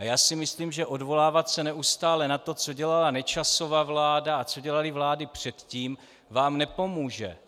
A já si myslím, že odvolávat se neustále na to, co dělala Nečasova vláda a co dělaly vlády předtím, vám nepomůže.